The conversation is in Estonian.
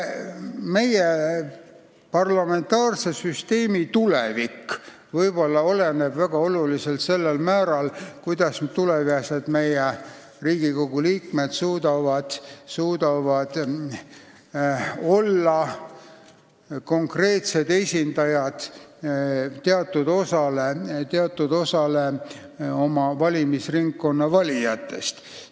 Meie parlamentaarse süsteemi tulevik võib väga oluliselt oleneda sellest, kuidas tulevased Riigikogu liikmed suudavad konkreetselt esindada teatud osa oma valimisringkonna valijatest.